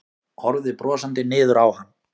Horfði brosandi niður á hann.